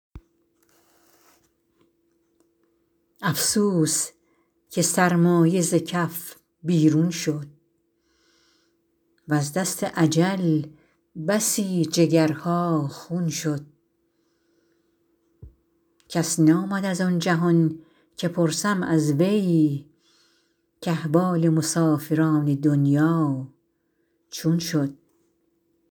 افسوس که سرمایه ز کف بیرون شد وز دست اجل بسی جگرها خون شد کس نآمد از آن جهان که پرسم از وی کاحوال مسافران دنیا چون شد